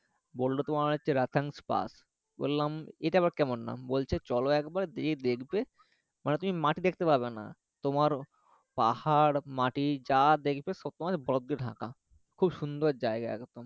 বললো তোমার হচ্ছে রোথাংপাস বললাম এটা আবার কেমন নাম বলছে চলো একবার দিয়ে দেখবে মানে তুমি মাটি দেখতে পারবেনা তোমার পাহাড় মাটি যা দেখবে সব তোমার বরফ দিয়ে ঢাকা খুব সুন্দর জায়গা একদম